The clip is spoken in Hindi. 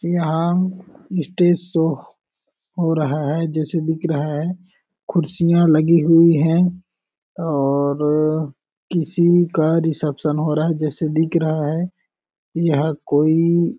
यह स्टेज सो हो रहा है जैसा दिख रहा है कुर्सियाँ लगी हुई है और किसी का रिसेप्शन हो रहा है जैसे दिख रहा है यह कोई--